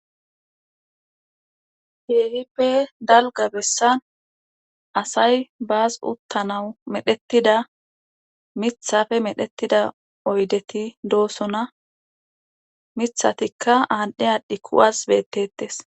Kehippe dalga bessan asay baas uttanawu medhettida mithafe medhettida oydeti doosona mithatikka aadhdhe adhdhi kuwas bettettes